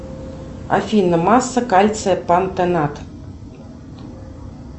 афина масса кальция пантенат